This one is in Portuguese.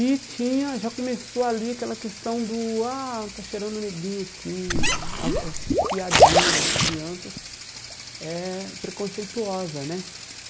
E tinha, já começou ali aquela questão do, ah, está cheirando neguinho aqui, as as as piadinha das crianças é preconceituosa, né?